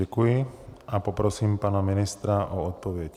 Děkuji a poprosím pana ministra o odpověď.